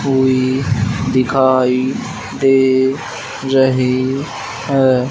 कोई दिखाई दे रही है।